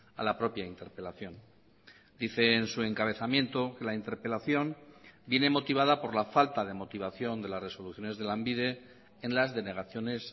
a la propia interpelación dice en su encabezamiento que la interpelación viene motivada por la falta de motivación de las resoluciones de lanbide en las denegaciones